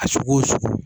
A sugu o sugu